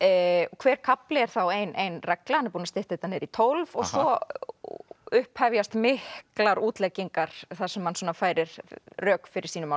hver kafli er þá ein ein regla hann er búinn að stytta þetta niður í tólf og svo upphefjast miklar útleggingar þar sem hann færir rök fyrir sínu máli